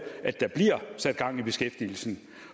sat gang i beskæftigelsen